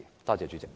多謝主席。